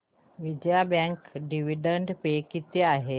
Vijaya bank dividend pay किती आहे